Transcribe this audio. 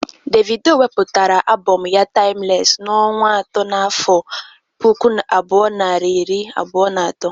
Davido wepụtara abọm ya 'taimles" n'ọnwa atọ n'afọ puku abụọ na iri abụọ na atọ.